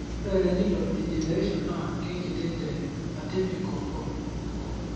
ore Renital degeneration naa keikiti te atypical form.